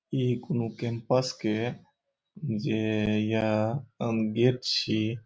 ये एक नु कैंपस के जे या अम बेग छी।